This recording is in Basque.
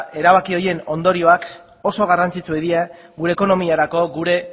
erabaki horien ondorioak oso garrantzitsuak dira gure ekonomiarako gure